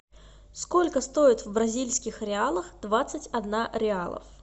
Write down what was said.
сколько стоит в бразильских реалах двадцать одна реалов